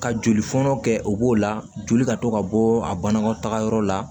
Ka joli fɔnɔ kɛ o b'o la joli ka to ka bɔ a banakɔtagayɔrɔ la